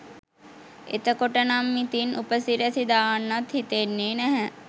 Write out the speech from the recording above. එතකොට නම් ඉතින් උපසිරැසි දාන්නත් හිතෙන්නේ නැහැ